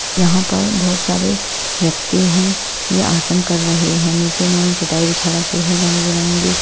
यहाँ पर बहुत सारे व्यक्ति हैं यह आसन कर रहे हैं नीचे इन्होंने चटाई बिछा रखी है रंग-बिरंगी।